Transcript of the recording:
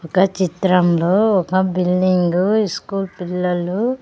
ఒక చిత్రంలో ఒక బిల్డింగు ఇస్కూల్ పిల్లలు --